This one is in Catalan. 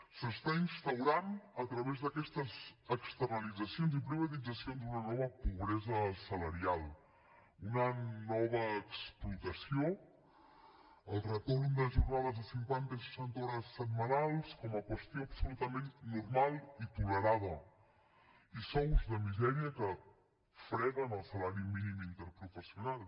s’està instaurant a través d’aquestes externalitzacions i privatitzacions una nova pobresa salarial una nova explotació el retorn de jornades de cinquanta i seixanta hores setmanals com a qüestió absolutament normal i tolerada i sous de misèria que freguen el salari mínim interprofessional